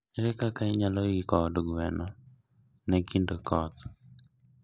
Ere kaka inyalo iko od gweno ne kinde koth?